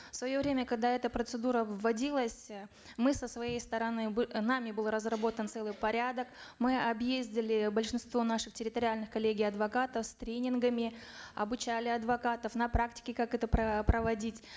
в свое время когда эта процедура вводилась э мы со своей стороны нами был разработан целый порядок мы объездили большинство наших территориальных коллегий адвокатов с тренингами обучали адвокатов на практике как это проводить